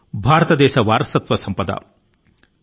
భారతదేశం యొక్క నిర్మాణం విశ్వాసం మరియు స్నేహం